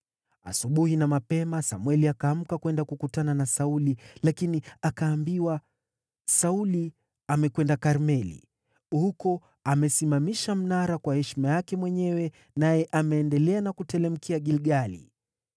Asubuhi na mapema Samweli akaamka kwenda kukutana na Sauli, lakini akaambiwa, “Sauli amekwenda Karmeli. Huko amesimamisha mnara kwa heshima yake mwenyewe naye ameendelea na kuteremkia Gilgali.”